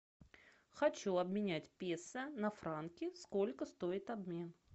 хочу обменять песо на франки сколько стоит обмен